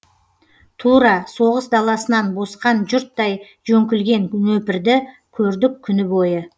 тура соғыс даласынан босқан жұрттай жөңкілген нөпірді көрдік күні бойы